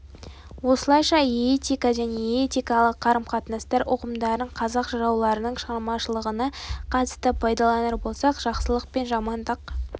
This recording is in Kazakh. осылайша этика және этикалық қарым-қатынастар ұғымдарын қазақ жырауларының шығармашылығына қатысты пайдаланар болсақ жақсылық пен жамандық